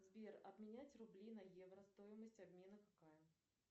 сбер обменять рубли на евро стоимость обмена какая